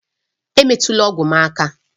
Emetụla ọgwụ m aka!